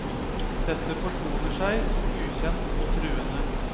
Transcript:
Dette fortoner seg som ukjent og truende.